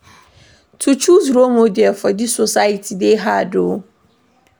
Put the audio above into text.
To choose role model for dis society dey hard me o.